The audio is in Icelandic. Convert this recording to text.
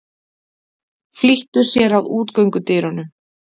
Flýttu sér að útgöngudyrunum.